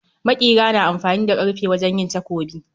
Maƙira na amfani da karfe wajen yin takobi